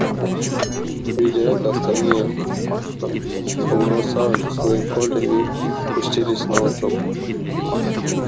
видя это остальные побросали свои колья и пустились наутёк